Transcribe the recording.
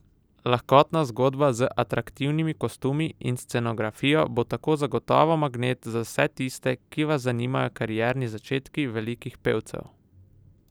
Lahkotna zgodba z atraktivnimi kostumi in scenografijo bo tako zagotovo magnet za vse tiste, ki vas zanimajo karierni začetki velikih pevcev!